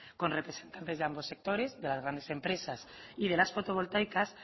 con representantes de ambos sectores de las grandes empresas y de las fotovoltaicas